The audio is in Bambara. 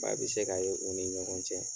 a be se ka ye u ni ɲɔgɔn cɛ.